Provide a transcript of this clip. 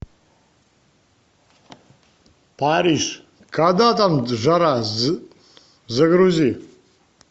париж когда там жара загрузи